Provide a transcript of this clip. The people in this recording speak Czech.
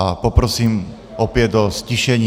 A poprosím opět o ztišení.